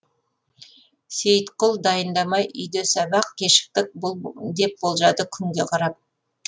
сейітқұл дайындамай үйде сабақ кешіктік бұл деп болжады күнге қарап